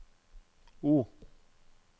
O